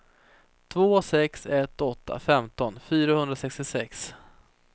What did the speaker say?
två sex ett åtta femton fyrahundrasextiosex